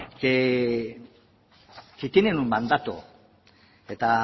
que tienen un mandato eta